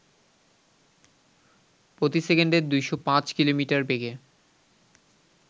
প্রতি সেকেন্ড ২০৫ কিমি বেগে